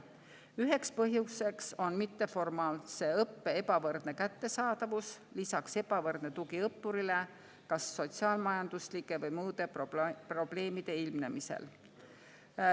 Ühe põhjusena toodi välja mitteformaalse õppe ebavõrdne kättesaadavus, lisaks ebavõrdne tugi õppurile kas sotsiaal-majanduslike või muude probleemide ilmnemisel.